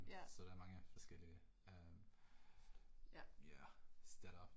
Ja. Ja